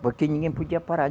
Porque ninguém podia parar.